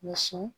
Muso